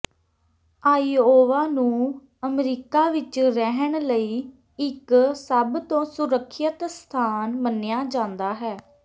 Iowa ਨੂੰ America ਵਿਚ ਰਹਿਣ ਲਈ ਇਕ ਸਭ ਤੋਂ ਸੁਰੱਖਿਅਤ ਸਥਾਨ ਮੰਨਿਆ ਜਾਂਦਾ ਹੈ